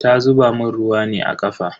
Ta zuba mun ruwa ne a kafa.